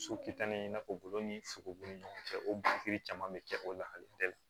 So kitale in na fɔ bolo ni fukofobon ni ɲɔgɔn cɛ o caman bɛ kɛ o la dɛ